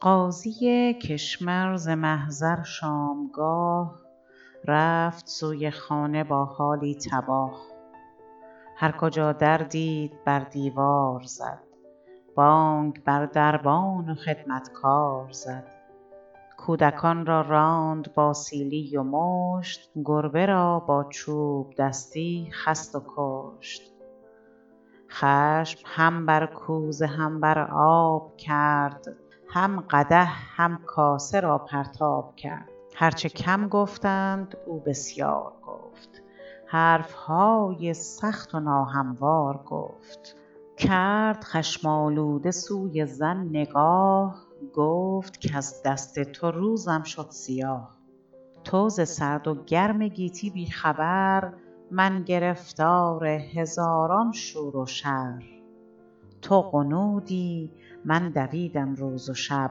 قاضی کشمر ز محضر شامگاه رفت سوی خانه با حالی تباه هر کجا در دید بر دیوار زد بانگ بر دربان و خدمتکار زد کودکان را راند با سیلی و مشت گربه را با چوبدستی خست و کشت خشم هم بر کوزه هم بر آب کرد هم قدح هم کاسه را پرتاب کرد هر چه کم گفتند او بسیار گفت حرفهای سخت و ناهموار گفت کرد خشم آلوده سوی زن نگاه گفت کز دست تو روزم شد سیاه تو ز سرد و گرم گیتی بی خبر من گرفتار هزاران شور و شر تو غنودی من دویدم روز و شب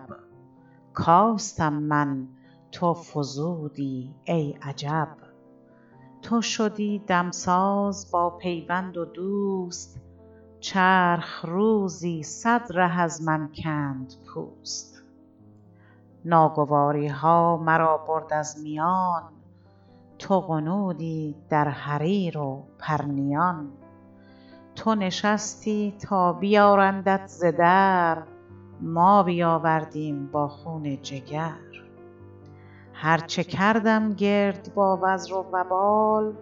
کاستم من تو فزودی ای عجب تو شدی دمساز با پیوند و دوست چرخ روزی صد ره از من کند پوست ناگواریها مرا برد از میان تو غنودی در حریر و پرنیان تو نشستی تا بیارندت ز در ما بیاوردیم با خون جگر هر چه کردم گرد با وزر و وبال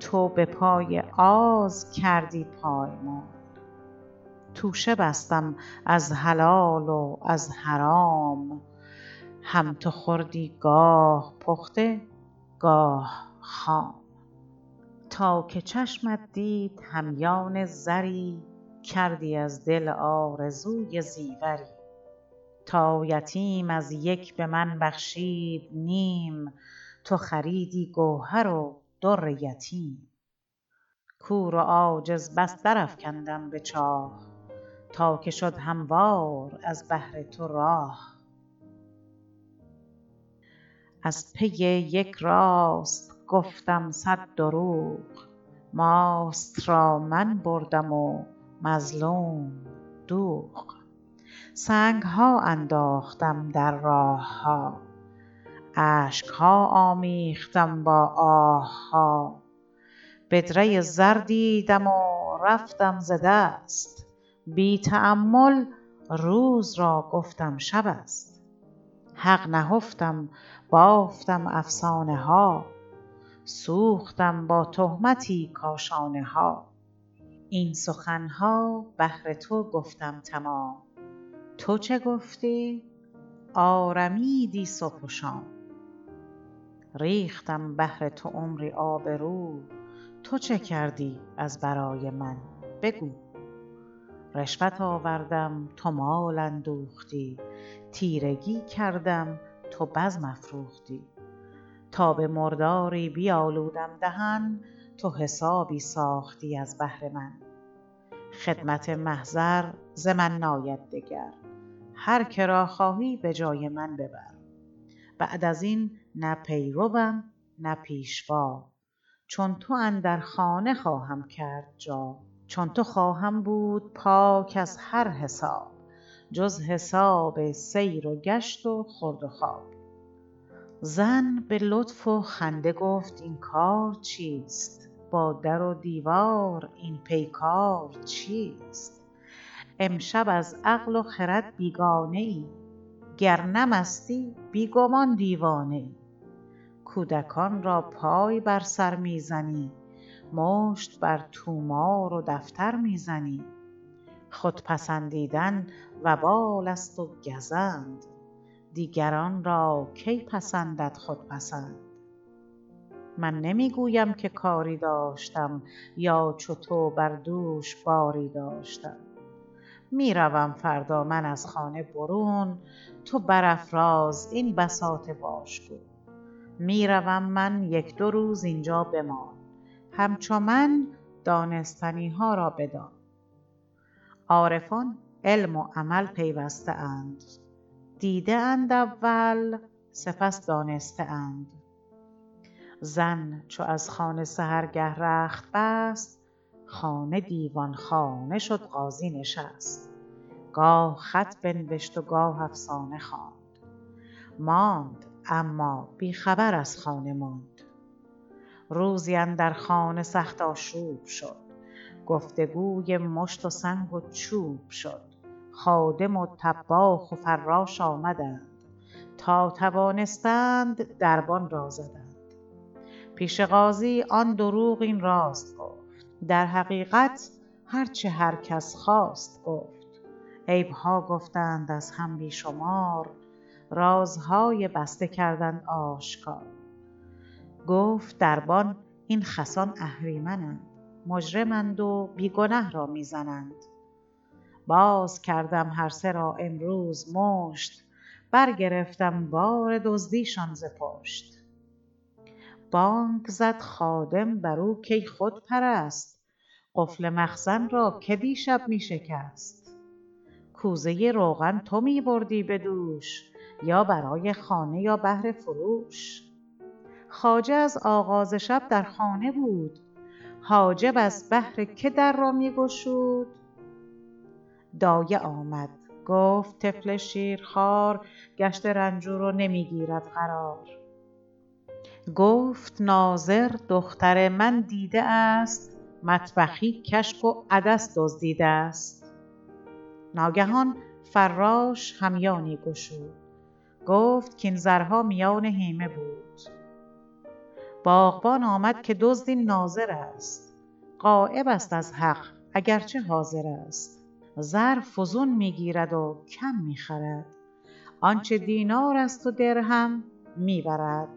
تو بپای آز کردی پایمال توشه بستم از حلال و از حرام هم تو خوردی گاه پخته گاه خام تا که چشمت دید همیان زری کردی از دل آرزوی زیوری تا یتیم از یک بمن بخشید نیم تو خریدی گوهر و در یتیم کور و عاجز بس در افکندم بچاه تا که شد هموار از بهر تو راه از پی یک راست گفتم صد دروغ ماست را من بردم و مظلوم دوغ سنگها انداختم در راه ها اشکها آمیختم با آه ها بدره زر دیدم و رفتم ز دست بی تامل روز را گفتم شب است حق نهفتم بافتم افسانه ها سوختم با تهمتی کاشانه ها این سخنها بهر تو گفتم تمام تو چه گفتی آرمیدی صبح و شام ریختم بهر تو عمری آبرو تو چه کردی از برای من بگو رشوت آوردم تو مال اندوختی تیرگی کردم تو بزم افروختی تا به مرداری بیالودم دهن تو حسابی ساختی از بهر من خدمت محضر ز من ناید دگر هر که را خواهی بجای من ببر بعد ازین نه پیروم نه پیشوا چون تو اندر خانه خواهم کرد جا چون تو خواهم بود پاک از هر حساب جز حساب سیرو گشت و خورد و خواب زن بلطف و خنده گفت اینکار چیست با در و دیوار این پیکار چیست امشب از عقل و خرد بیگانه ای گر نه مستی بیگمان دیوانه ای کودکان را پای بر سر میزنی مشت بر طومار و دفتر میزنی خودپسندیدن و بال است و گزند دیگران را کی پسندد خودپسند من نمیگویم که کاری داشتم یا چو تو بر دوش باری داشتم میروم فردا من از خانه برون تو بر افراز این بساط واژگون میروم من یک دو روز اینجا بمان همچو من دانستنیها را بدان عارفان علم و عمل پیوسته اند دیده اند اول سپس دانسته اند زن چو از خانه سحرگه رخت بست خانه دیوانخانه شد قاضی نشست گاه خط بنوشت و گاه افسانه خواند ماند اما بیخبر از خانه ماند روزی اندر خانه سخت آشوب شد گفتگوی مشت و سنگ و چوب شد خادم و طباخ و فراش آمدند تا توانستند دربان را زدند پیش قاضی آن دروغ این راست گفت در حقیقت هر چه هر کس خواست گفت عیبها گفتند از هم بیشمار رازهای بسته کردند آشکار گفت دربان این خسان اهریمنند مجرمند و بی گنه رامیزنند باز کردم هر سه را امروز مشت برگرفتم بار دزدیشان ز پشت بانگ زد خادم بر او کی خود پرست قفل مخزن را که دیشب میشکست کوزه روغن تو میبردی بدوش یا برای خانه یا بهر فروش خواجه از آغاز شب در خانه بود حاجب از بهر که در را میگشود دایه آمد گفت طفل شیرخوار گشته رنجور و نمیگیرد قرار گفت ناظر دختر من دیده است مطبخی کشک و عدس دزدیده است ناگهان فراش همیانی گشود گفت کاین زرها میان هیمه بود باغبان آمد که دزد این ناظر است غایبست از حق اگرچه حاضر است زر فزون میگیرد و کم میخرد آنچه دینار است و درهم میبرد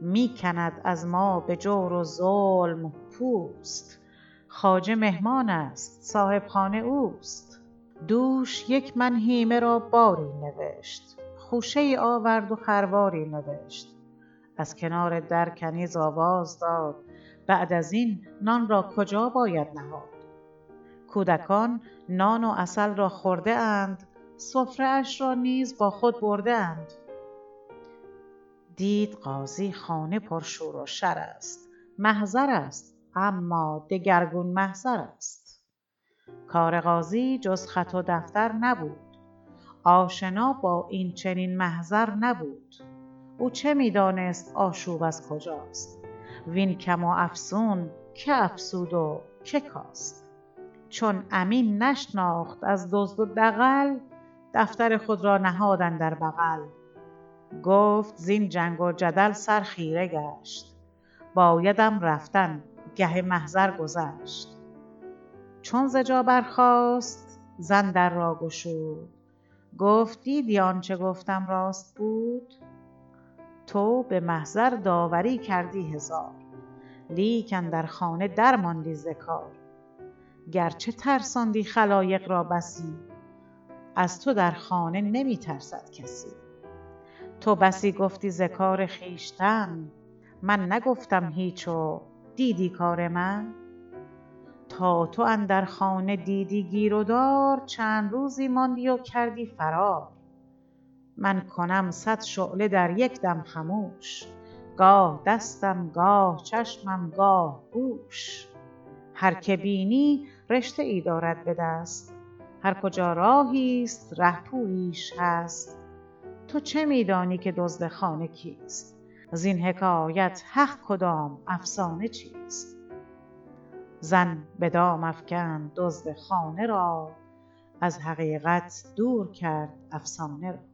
میکند از ما به جور و ظلم پوست خواجه مهمانست صاحبخانه اوست دوش یک من هیمه را باری نوشت خوشه ای آورد و خرواری نوشت از کنار در کنیز آواز داد بعد ازین نان را کجا باید نهاد کودکان نان و عسل را خورده اند سفره اش را نیز با خود برده اند دید قاضی خانه پرشور و شر است محضر است اما دگرگون محضر است کار قاضی جز خط و دفتر نبود آشنا با این چنین محضر نبود او چه میدانست آشوب از کجاست وین کم و افزون که افزود و که کاست چون امین نشناخت از دزد و دغل دفتر خود را نهاد اندر بغل گفت زین جنگ و جدل سر خیره گشت بایدم رفتن گه محضر گذشت چون ز جا برخاست زن در را گشود گفت دیدی آنچه گفتم راست بود تو به محضر داوری کردی هزار لیک اندر خانه درماندی ز کار گرچه ترساندی خلایق را بسی از تو در خانه نمیترسد کسی تو بسی گفتی ز کار خویشتن من نگفتم هیچ و دیدی کار من تا تو اندر خانه دیدی گیر و دار چند روزی ماندی و کردی فرار من کنم صد شعله در یکدم خموش گاه دستم گاه چشمم گاه گوش هر که بینی رشته ای دارد بدست هر کجا راهی است رهپوییش هست تو چه میدانی که دزد خانه کیست زین حکایت حق کدام افسانه چیست زن بدام افکند دزد خانه را از حقیقت دور کرد افسانه را